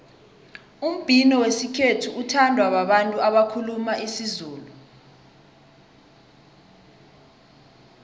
umbhino wesikhethu uthandwa babantu abakhuluma isizulu